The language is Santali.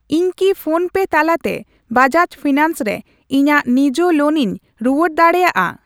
ᱤᱧ ᱠᱤ ᱯᱷᱳᱱᱯᱮ ᱛᱟᱞᱟᱛᱮ ᱵᱟᱡᱟᱡ ᱯᱷᱤᱱᱟᱱᱥ ᱨᱮ ᱤᱧᱟᱜ ᱱᱤᱡᱟᱹ ᱞᱳᱱᱤᱧ ᱨᱩᱣᱟᱹᱲ ᱫᱟᱲᱮᱭᱟᱜᱼᱟ ?